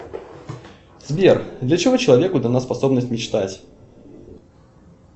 сбер для чего человеку дана способность мечтать